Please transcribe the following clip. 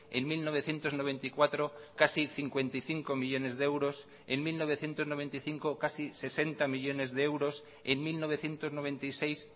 en mil novecientos noventa y cuatro casi cincuenta y cinco millónes de euros en mil novecientos noventa y cinco casi sesenta millónes de euros en mil novecientos noventa y seis